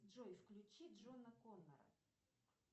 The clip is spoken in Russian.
джой включи джона коннора